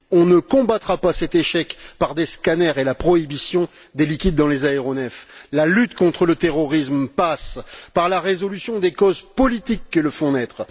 On ne combattra pas cet échec par des scanners, ni par la prohibition des liquides dans les aéronefs. La lutte contre le terrorisme passe par la résolution des causes politiques qui le font naître.